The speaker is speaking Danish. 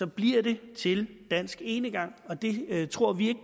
bliver det til dansk enegang og det tror vi